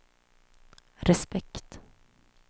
respekt